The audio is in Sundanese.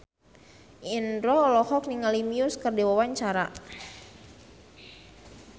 Indro olohok ningali Muse keur diwawancara